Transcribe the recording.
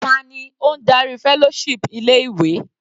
Ta ni ó ń darí fellowship ilé ìwé?